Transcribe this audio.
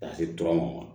Ka se tura ma